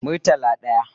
Murtala daya